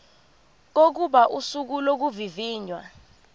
kokuba usuku lokuvivinywa